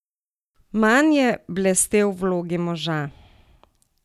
Manj je blestel v vlogi moža.